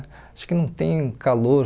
Acho que não tem calor.